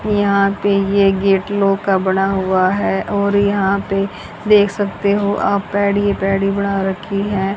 यहां पे ये गेट लोहे का बना हुआ है और यहां पे देख सकते हो आप पैडी ये पैडी बना रखी है।